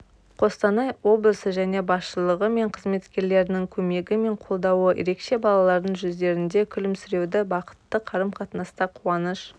қостанай облысы және басшылығы мен қызметкерлерінің көмегі мен қолдауы ерекше балалардың жүздерінде күлімсіреуді бақытты қарым-қатынаста қуаныш